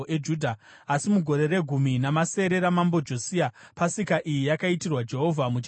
Asi mugore regumi namasere raMambo Josia, pasika iyi yakaitirwa Jehovha muJerusarema.